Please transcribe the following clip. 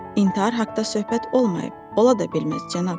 İntihar haqda söhbət olmayıb, ola da bilməz, cənab,